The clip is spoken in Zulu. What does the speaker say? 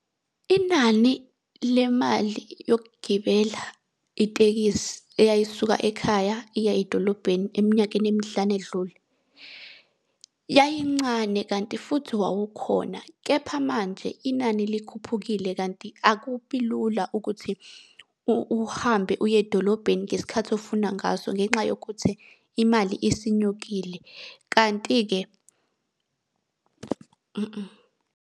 Inani lemali yokugibela itekisi eyayisuka ekhaya iya edolobheni eminyakeni emihlanu edlule, yayincane kanti futhi wawukhona. Kepha manje inani likhuphukile kanti akubi lula ukuthi uhambe uye edolobheni ngesikhathi ofuna ngaso ngenxa yokuthi imali isinyukile, kanti-ke .